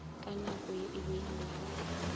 na nako ye e beilwego